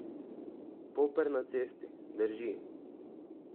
Poper na cesti, drži.